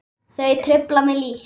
Þau trufla mig lítt.